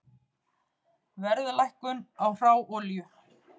Verðlækkun á hráolíu